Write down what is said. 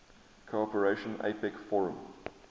cooperation apec forum